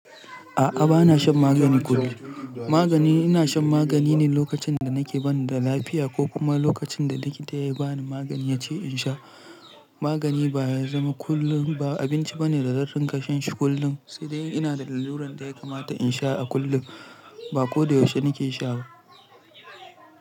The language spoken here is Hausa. A'a bana shan magani kullum. Magani ina shan magani ne lokacin da nake bani da lafiya ko kuma lokacin da likita ya yi bani magani yace in sha. Magani ba ya zama kullum ba, ba abinci ba ne da zan ringa kasha shi kullum. Sai dai ina da lalluran da ya kamata in sha a kullum ba ko da yaushe nake sha ba.